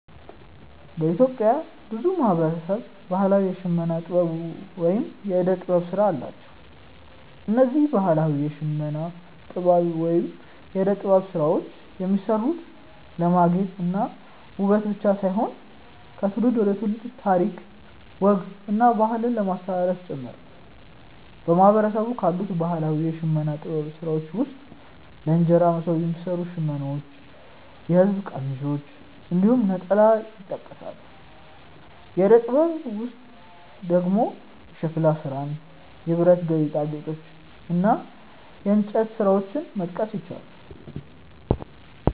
በኢትዮጵያ ብዙ ማህበረሰብ ባህላዊ የሽመና ጥበብ ወይም የእደ ጥበብ ስራ አላቸው። እነዚህ ባህላዊ የሽመና ጥበብ ወይም የእደ ጥበብ ስራዎች የሚሰሩት ለማጌጥ እና ውበት ብቻ ሳይሆን ከትውልድ ትውልድ ታሪክ፣ ወግ እና ባህልን ለማስተላለፍ ጭምር ነው። በማህበረሰቡ ካሉት ባህላዊ የሽመና ጥበብ ስራዎች ውስጥ ለእንጀራ መሶብ የሚሰሩ ሽመናዎች፣ የሐበሻ ቀሚሶች እንዲሁም ነጠላ ይጠቀሳሉ። የእደ ጥበብ ስራዎች ውስጥ ደግሞ የሸክላ ስራን፣ የብረት ጌጣጌጦችን እና የእንጨት ስራዎችን መጥቀስ ይቻላል።